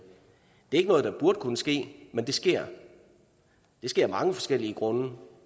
det er ikke noget der burde kunne ske men det sker det sker af mange forskellige grunde